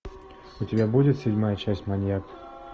у тебя будет седьмая часть маньяк